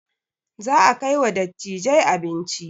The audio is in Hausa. Za a kai wa dattijai abinci